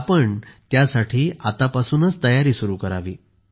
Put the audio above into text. तर आपण त्यासाठी आतापासूनच तयारी सुरू करावी